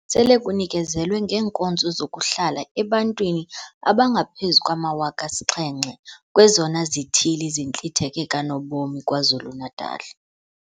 Sele kunikezelwe ngeenkonzo zokuhlala ebantwini abangaphezu kwama-7 000 kwezona zithili zintlitheke kanobom KwaZulu-Natal.